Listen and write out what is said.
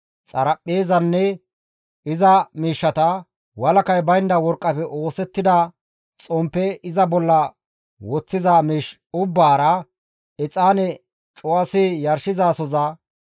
xaraphpheezanne iza miishshata, walakay baynda worqqafe oosettida xomppe iza bolla woththiza miish ubbaara, exaane cuwasi yarshizasoza,